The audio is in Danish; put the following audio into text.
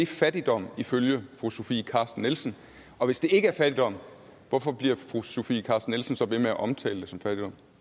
fattigdom ifølge fru sofie carsten nielsen og hvis det ikke er fattigdom hvorfor bliver fru sofie carsten nielsen så ved med at omtalte det som fattigdom